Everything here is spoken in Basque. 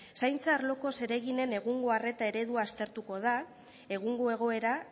zaintza arloko zereginen egungo arreta eredu aztertuko da egungo egoera